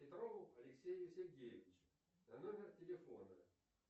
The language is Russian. петрову алексею сергеевичу на номер телефона